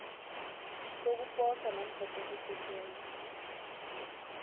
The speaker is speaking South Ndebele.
sokuposa namkha sokusetjenzwa